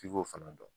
F'i k'o fana dɔn